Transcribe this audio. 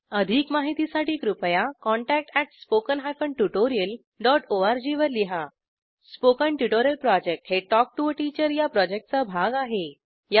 अधिक माहितीसाठी कृपया contact at spoken hyphen tutorial dot ORG वर लिहा स्पोकन ट्युटोरियल प्रॉजेक्ट हे टॉक टू टीचर या प्रॉजेक्टचा भाग आहे